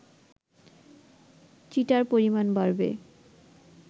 cheater পরিমাণ বাড়বে